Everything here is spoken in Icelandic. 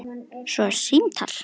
Svo símtal.